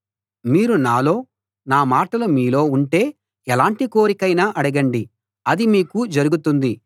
మీరు నాలో నా మాటలు మీలో ఉంటే ఎలాంటి కోరికైనా అడగండి అది మీకు జరుగుతుంది